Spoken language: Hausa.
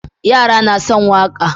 Yara na son waƙa